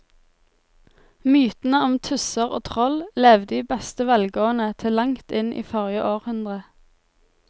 Mytene om tusser og troll levde i beste velgående til langt inn i forrige århundre.